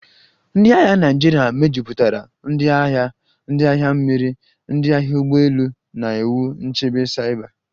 cNdị agha Naịjirịa mejupụtara ndị agha, ndị agha mmiri, ndị agha ụgbọ elu na iwu nchebe saiba